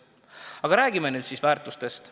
Aga räägime nüüd siis väärtustest.